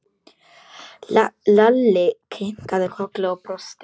Lalli kinkaði kolli og brosti.